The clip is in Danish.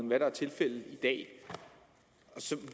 hvad der er tilfældet i dag så